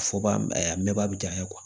Fɔba ɛ a mɛnbaya